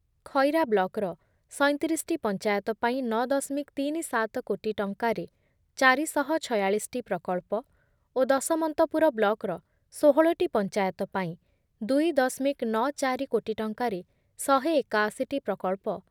ଖଇରା ବ୍ଲକର ସଇଁତିରିଶଟି ପଞ୍ଚାୟତ ପାଇଁ ନ ଦଶମିକ ସଇଁତିରିଶ କୋଟି ଟଙ୍କାରେ ଚାରି ଶହ ଛୟାଳିଶଟି ପ୍ରକଳ୍ପ ଓ ଦଶମନ୍ତପୁର ବ୍ଲକର ଷୋହଳଟି ପଂଚାୟତ ପାଇଁ ଦୁଇ ଦଶମିକ ଚଉରାନବେ କୋଟି ଟଙ୍କାରେ ଶହେ ଏକାଅଶିଟି ପ୍ରକଳ୍ପ